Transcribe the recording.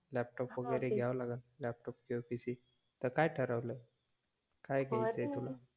laptop वगेरे घेवा लागल लॅपटॉप किवा PC त काय ठरवल काय घ्येयाच आहे तुला